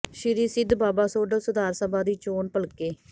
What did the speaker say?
ਸ਼੍ਰੀ ਸਿੱਧ ਬਾਬਾ ਸੋਡਲ ਸੁਧਾਰ ਸਭਾ ਦੀ ਚੋਣ ਭਲਕੇ